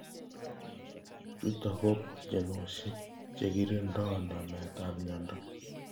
chutok ko boljinoshek chekirindoi namet ab mnyendo.